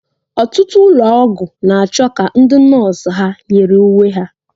Ọtụtụ ụlọ ọgwụ na-achọ ka ndị nọọsụ ha yiri uwe ha